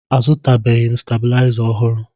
Azụtabeghị m stebilaịza ọhụrụ